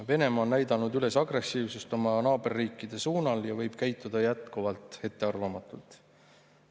Venemaa on näidanud oma naaberriikide suunal üles agressiivsust ja võib jätkuvalt käituda ettearvamatult.